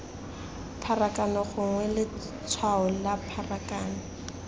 pharakano gongwe letshwao la pharakano